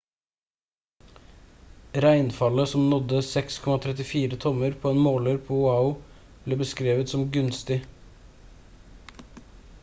regnfallet som nådde 6,34 tommer på en måler på oahu ble beskrevet som «gunstig»